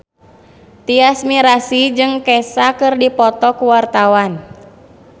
Tyas Mirasih jeung Kesha keur dipoto ku wartawan